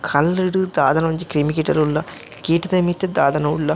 ಕಲ್ಲುಡು ದಾದನ ಒಂಜಿ ಕ್ರಿಮಿಕೀಟ ಲ್ ಉಲ್ಲ ಕೀಟದ ಮಿತ್ತ್ ದಾದನ ಉಲ್ಲ.